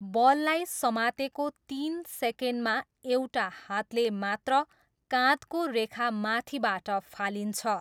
बललाई समातेको तिन सेकेन्डमा एउटा हातले मात्र काँधको रेखा माथिबाट फालिन्छ।